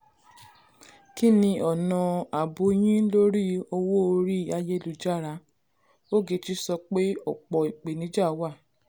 kí ni ọ̀nà àbò yín lórí owó orí ayélujára? ogechi so pe opọ̀ ìpèníjà wà.